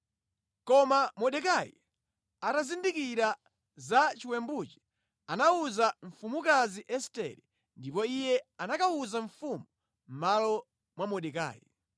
Koma Mordekai atazindikira za chiwembuchi anawuza mfumukazi Estere ndipo iye anakawuza mfumu mʼmalo mwa Mordekai.